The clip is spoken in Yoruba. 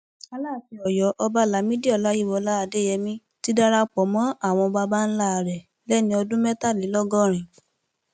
alaafin ọyọ ọba lamidi ọláyíwọlá adéyẹmi ti darapọ mọ àwọn baba ńlá rẹ lẹni ọdún mẹtàlélọgọrin